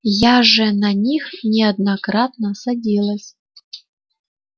я же на них неоднократно садилась